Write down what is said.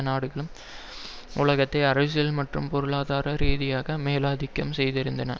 நாடுகளும் உலகத்தை அரசியல் மற்றும் பொருளாதார ரீதியாக மேலாதிக்கம் செய்திருந்தன